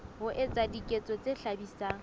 ho etsa diketso tse hlabisang